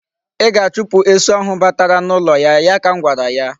I ga-achupu esu ahụ batara n'ụlọ. ya ka m gwara ya.